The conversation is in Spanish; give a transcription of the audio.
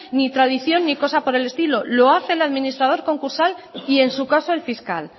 ni tradición ni cosa por el estilo lo hace el administrador concursal y en su caso el fiscal